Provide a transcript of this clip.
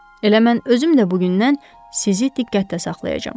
Elə mən özüm də bu gündən sizi diqqətdə saxlayacağam.